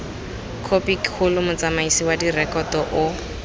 khopikgolo motsamaisi wa direkoto o